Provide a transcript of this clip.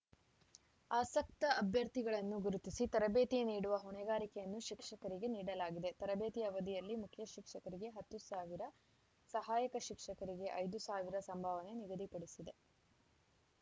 ಆಸಕ್ತ ಅಭ್ಯರ್ಥಿಗಳನ್ನು ಗುರುತಿಸಿ ತರಬೇತಿ ನೀಡುವ ಹೊಣೆಗಾರಿಕೆಯನ್ನು ಶಿಕ್ಷಕರಿಗೆ ನೀಡಲಾಗಿದೆ ತರಬೇತಿ ಅವಧಿಯಲ್ಲಿ ಮುಖ್ಯ ಶಿಕ್ಷಕರಿಗೆ ಹತ್ತು ಸಾವಿರ ಸಹಾಯಕ ಶಿಕ್ಷಕರಿಗೆ ಐದು ಸಾವಿರ ಸಂಭಾವನೆ ನಿಗದಿಪಡಿಸಿದೆ